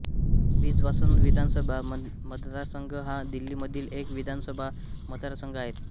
बिजवासन विधानसभा मतदारसंघ हा दिल्लीमधील एक विधानसभा मतदारसंघ आहे